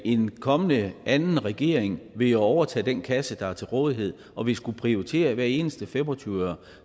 en kommende anden regering vil jo overtage den kasse der er til rådighed og vil skulle prioritere hver eneste fem og tyve øre